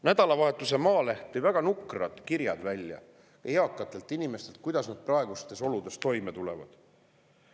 Nädalavahetuse Maaleht avaldas väga nukrad kirjad eakatelt inimestelt, kuidas nad praegustes oludes toime tulevad.